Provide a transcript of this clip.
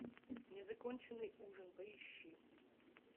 незаконченный ужин поищи